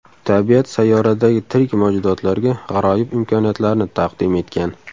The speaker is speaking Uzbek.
Tabiat sayyoradagi tirik mavjudotlarga g‘aroyib imkoniyatlarni taqdim etgan.